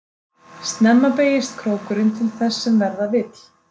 Snemma beygist krókurinn til þess sem verða vill.